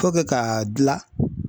K'o kɛ ka dilan